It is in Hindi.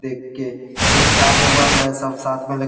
देख के एकता में बल हैं सब साथ में --